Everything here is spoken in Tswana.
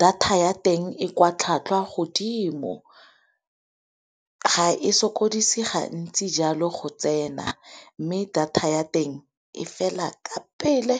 data ya teng e kwa tlhatlhwa godimo, ga e sokodise gantsi jalo go tsena mme, data ya teng e fela ka pele.